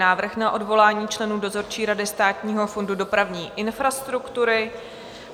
Návrh na odvolání členů dozorčí rady Státního fondu dopravní infrastruktury